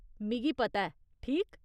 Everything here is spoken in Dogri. मिगी पता ऐ, ठीक ?